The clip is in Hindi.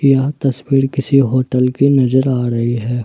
यह तस्वीर किसी होटल की नजर आ रही है।